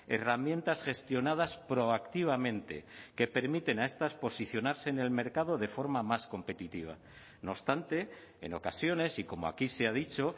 herramientas gestionadas proactivamente que permiten a estas posicionarse en el mercado de forma más competitiva no obstante en ocasiones y como aquí se ha dicho